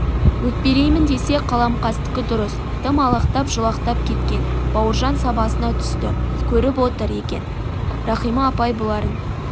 өкпелейін десе қаламқастікі дұрыс тым алақтап-жұлақтап кеткен бауыржан сабасына түсті көріп отыр екен рахима апай бұларын